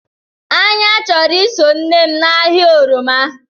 Anya choro iso nnem na ahia oroma.